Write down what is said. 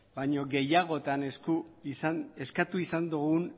baino gehiagotan eskatu izan dugun